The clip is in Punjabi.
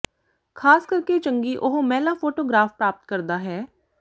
ਖ਼ਾਸ ਕਰਕੇ ਚੰਗੀ ਉਹ ਮਹਿਲਾ ਫੋਟੋਗ੍ਰਾਫ਼ ਪ੍ਰਾਪਤ ਕਰਦਾ ਹੈ